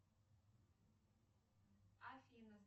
афина